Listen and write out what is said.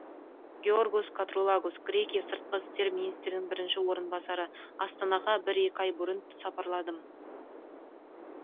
георгос катругалос грекия сыртқы істер министрінің бірінші орынбасары астанаға бір екі ай бұрын сапарладым